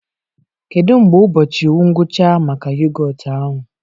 Kedu mgbe ụbọchị ngwụcha maka yogọt ahụ?